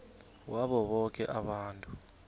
wabo boke abantu